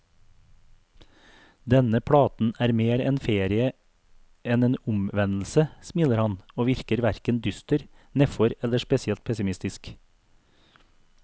Denne platen er mer en ferie enn en omvendelse, smiler han, og virker hverken dyster, nedfor eller spesielt pessimistisk.